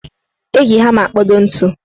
Eji hama akpodo ntu